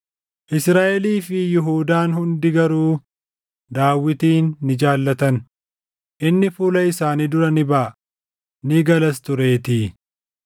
Israaʼelii fi Yihuudaan hundi garuu Daawitin ni jaallatan; inni fuula isaanii dura ni baʼa; ni galas tureetii.